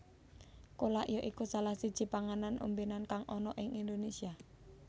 Kolak ya iku salah siji panganan ombènan kang ana ing Indonésia